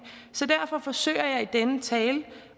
så derfor forsøger jeg i denne tale